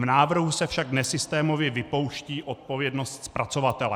V návrhu se však nesystémově vypouští odpovědnost zpracovatele.